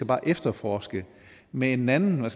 bare efterforske med en anden